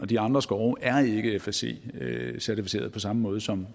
de andre skove er ikke fsc certificerede på samme måde som